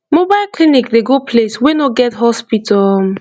mobile clinic dey go place wey no get hospital um